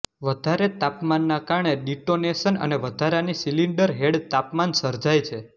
વધારે તાપમાનના કારણે ડિટોનેશન અને વધારાની સિલિન્ડર હેડ તાપમાન સર્જાય છે